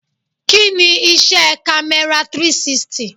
Kí ni iṣẹ́ kamera 360?